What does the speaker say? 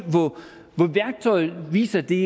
hvor værktøjet viser at det